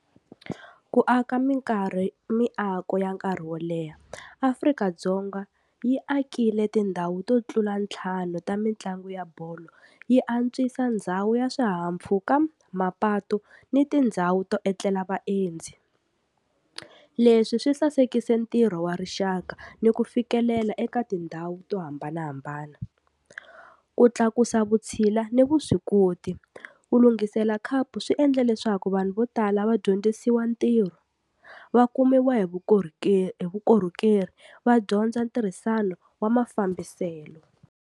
Ku aka minkarhi miako ya nkarhi wo leha, Afrika-Dzonga yi akile tindhawu to tlula ntlhanu ta mitlangu ya bolo, yi antswisa ndhawu ya swihahampfhuka, mapatu ni tindhawu to etlela vaendzi, leswi swi sasekise ntirho wa rixaka ni ku fikelela eka tindhawu to hambanahambana. Ku tlakusa vutshila ni vuswikoti, ku lunghisela khapu swi endle leswaku vanhu vo tala va dyondzisiwa ntirho va kumiwa hi vukorhokeri va dyondza ntirhisano wa mafambiselo.